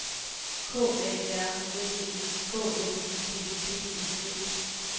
K A R S E K L I P P E T